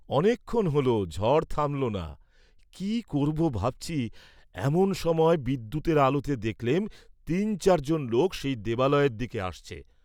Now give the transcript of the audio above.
অনেকক্ষণ হল, ঝড় থামল না, কি করব ভাবছি, এমন সময় বিদ্যুতের আলোতে দেখলেম তিন চার জন লোক সেই দেবালয়ের দিকে আসছে।